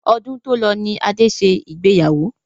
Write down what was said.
Ọdún tó lọ ní Adé ṣe ìgbéyàwó